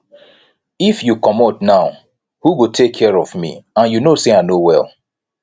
if you comot now who go take care of me and you know say i no well